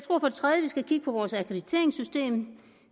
at vi skal kigge på vores akkrediteringssystem